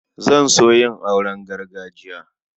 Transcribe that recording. Zan so yin auren gargajiya.